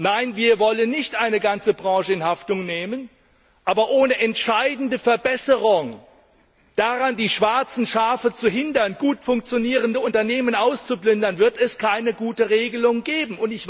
Nein, wir wollen nicht eine ganze Branche in Haftung nehmen! Aber ohne entscheidende Verbesserungen, durch die die schwarzen Schafe daran gehindert werden, gut funktionierende Unternehmen auszuplündern, wird es keine gute Regelung geben.